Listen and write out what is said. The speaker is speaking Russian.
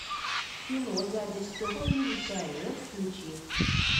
кино дядя степа милиционер включи